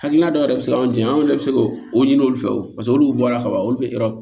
Hakilina dɔ yɛrɛ bɛ se ka anw jɛ an yɛrɛ bɛ se k'o o ɲini olu fɛ o olu bɔra ka ban olu bɛ yɔrɔ